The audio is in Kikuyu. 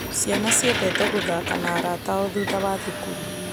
Ciana ciendete gũthaka na arata ao thutha wa thukuru.